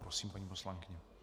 Prosím, paní poslankyně.